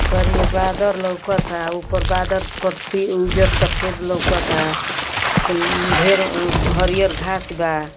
करिया बादल लौकता। ऊपर बादर पट्टी उजर सफ़ेद लौकता। कुल ठेर हरियर घास बा।